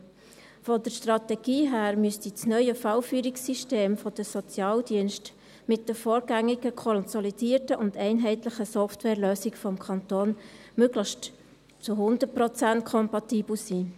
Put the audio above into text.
Von der Strategie her müsste das neue Fallführungssystem der Sozialdienste mit den vorgängig konsolidierten und einheitlichen Softwarelösungen des Kantons möglichst zu hundert Prozent kompatibel sein.